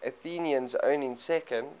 athenians owning second